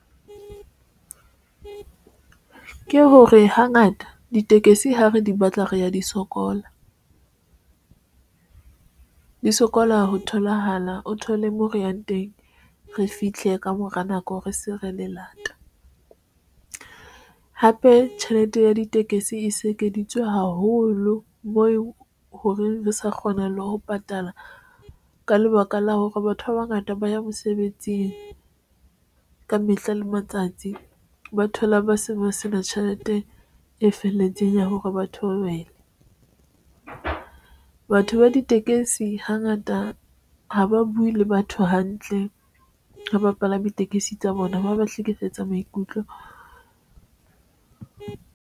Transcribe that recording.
Ke hore hangata ditekesi ha re di batla re ya di sokola, re di sokola ho tholahala. O thole moo re yang teng, re fihle ka mora nako. Re se re le lata ng hape tjhelete ya ditekesi e se ekeditswe haholo moo horeng re sa kgona le ho patala ka lebaka la hore batho ba bangata ba ya mosebetsing ka mehla le matsatsi ba theohela ba se ba sena tjhelete e felletseng ya hore batho ba beha batho ba ditekesi hangata ha ba buwe le batho hantle ho bapalami tekesi tsa bona ba ba hlekefetsa maikutlo.